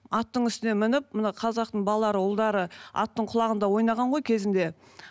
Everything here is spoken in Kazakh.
аттың үстіне мініп мына қазақтың балалары ұлдары аттың құлағында ойнаған ғой кезінде